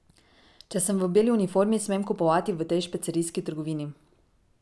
Če sem v beli uniformi, smem kupovati v tej špecerijski trgovini.